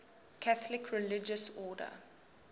catholic religious order